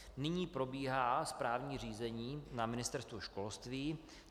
Nyní probíhá správní řízení na Ministerstvu školství.